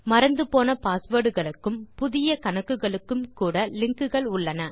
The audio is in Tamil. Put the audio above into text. மறந்து போன பாஸ்வேர்ட் களுக்கும் புதிய கணக்குகளுக்கும் கூட லிங்க்குகள் உள்ளன